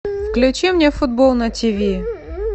включи мне футбол на тиви